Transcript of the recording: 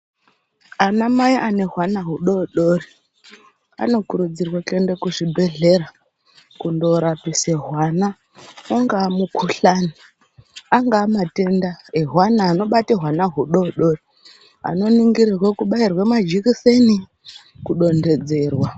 Ana mai ane hwana hudodori anokurudzirwe kuende kuzvibhedhlera kundorapisa hwama ungamukhuhlane, anga matenda ehwana anobata hwama hudodori anoningirirwa kubairwa majekiseni, kudontedzerwa.